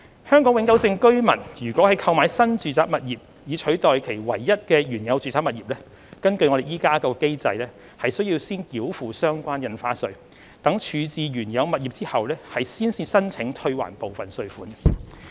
香港永久性居民如購買新住宅物業以取代其唯一的原有住宅物業，根據現行機制，須先繳付相關印花稅，待處置原有物業後才申請退還部分稅款。